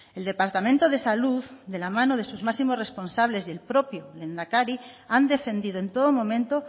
el departamento de salud de la mano de sus máximos responsables y el propio lehendakari han defendido en todo momento